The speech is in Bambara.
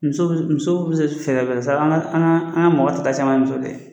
Muso min muso be se fɛrɛfɛrɛ sara an ka an ka an ka mɔgɔ ta ta caman ye muso ye